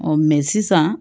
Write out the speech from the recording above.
sisan